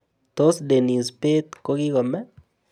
Tos' denis bett ko kikomee